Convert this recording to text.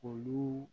Olu